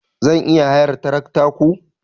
Zan iya hayar tarakta ku?